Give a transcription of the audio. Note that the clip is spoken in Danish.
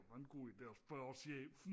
Det var en god ide og spørge chefen